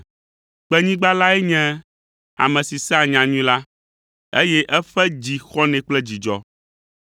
Kpenyigba lae nye ame si sea nyanyui la, eye eƒe dzi xɔnɛ kple dzidzɔ,